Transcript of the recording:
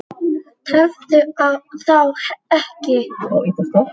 Tefðu þá ekki.